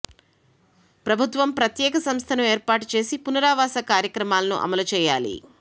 ప్రభుత్వం ప్రత్యేక సంస్థను ఏర్పాటు చేసి పునరావాస కార్యక్రమాలను అమలు చేయాలి